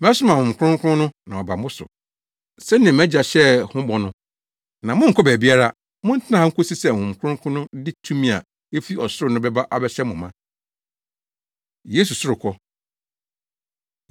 Mɛsoma Honhom Kronkron no na waba mo so sɛnea mʼagya hyɛɛ ho bɔ no. Na monnkɔ baabiara; montena ha nkosi sɛ Honhom Kronkron no de tumi a efi ɔsoro no bɛba abɛhyɛ mo ma.” Yesu Sorokɔ